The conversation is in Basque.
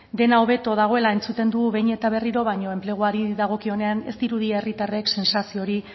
dena hobeto dagoela entzuten dugu behin eta berriro baina enpleguari dagokionean ez dirudi herritarrek sentsazio hori